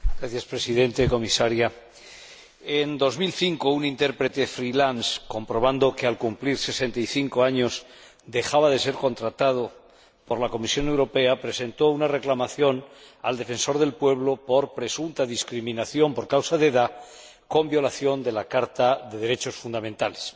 Señor Presidente, señora Comisaria, en 2005 un intérprete comprobando que al cumplir 65 años dejaba de ser contratado por la Comisión Europea, presentó una reclamación al Defensor del Pueblo por presunta discriminación por causa de edad con violación de la Carta de los Derechos Fundamentales.